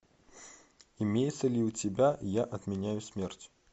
имеется ли у тебя я отменяю смерть